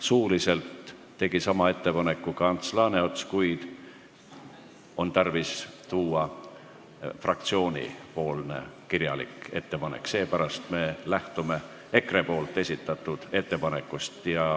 Suuliselt tegi sama ettepaneku ka Ants Laaneots, kuid on tarvis fraktsiooni kirjalikku ettepanekut, seepärast me lähtume EKRE esitatud ettepanekust.